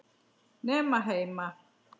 Nema heima.